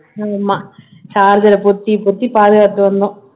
ஆமா charger அ பொத்தி பொத்தி பாதுகாத்து வந்தோம்